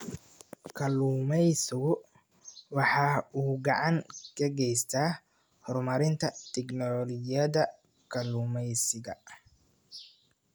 Kalluumaysigu waxa uu gacan ka geystaa horumarinta tignoolajiyada kalluumaysiga.